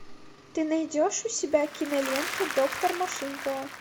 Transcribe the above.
ты найдешь у себя киноленту доктор машинкова